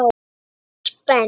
Einars Ben.